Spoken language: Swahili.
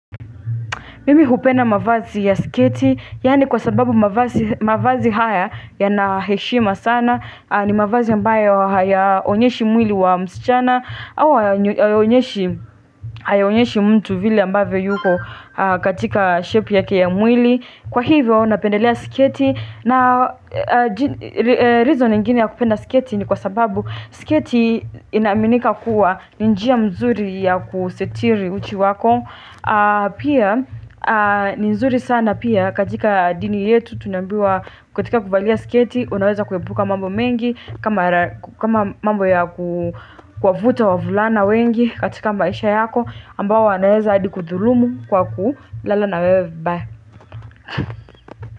Mimi kupenda mavazi ya sketi, yani kwa sababu mavazi haya yana heshima sana, ni mavazi yambayo hayaonyeshi mwili wa msichana, au hayaonyeshi mtu vile ambavo yuko katika shape yake ya mwili. Kwa hivyo, napendelea sketi, na reason ingine ya kupenda sketi ni kwa sababu sketi inaminika kuwa ni njia mzuri ya kusitiri uchi wako. Pia ni nzuri sana pia katika dini yetu tunambiwa katika kuvalia sketi Unaweza kwebuka mambo mengi kama mambo ya kuwafuta wavulana wengi katika maisha yako ambao wanaeza adi kuthulumu kwa kulala na wewe vibaya.